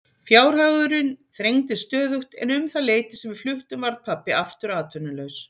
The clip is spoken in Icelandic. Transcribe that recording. Fjárhagurinn þrengdist stöðugt en um það leyti sem við fluttum varð pabbi aftur atvinnulaus.